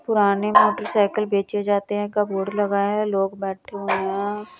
पुराने motor cycle बेचे जाते हैं का बोर्ड लगा है लोग बैठे हुए हैं।